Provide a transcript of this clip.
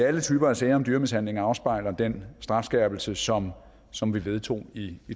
alle typer af sager om dyremishandling afspejler den strafskærpelse som som vi vedtog i